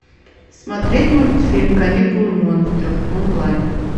смотреть мультфильм каникулы монстров онлайн